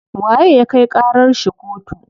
Waye ya kai ƙarar shi kotu?